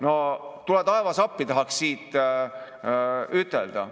"No tule taevas appi!" tahaks siit ütelda.